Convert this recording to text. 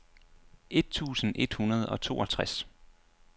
et tusind et hundrede og toogtres